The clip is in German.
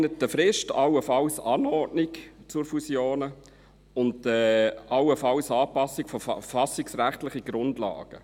Zielvorgaben innerhalb einer Frist, allenfalls Anordnung von Fusionen und allenfalls Anpassung von verfassungsrechtlichen Grundlagen.